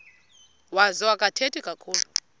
wazo akathethi kakhulu